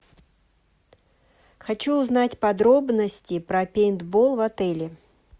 хочу узнать подробности про пейнтбол в отеле